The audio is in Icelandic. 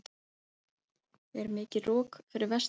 er mikið rok fyrir vestan